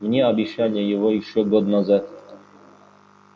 мне обещали его ещё год назад